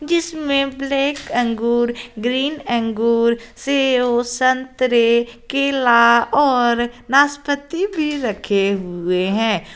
जिसमे ब्लैक अंगूर ग्रीन अंगूर सेव संतरे केला और नाशपाती भी रखे हुए हैं।